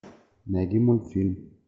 найди мультфильм